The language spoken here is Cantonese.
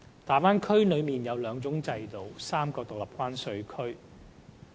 大灣區內有兩種制度和3個獨立關稅區。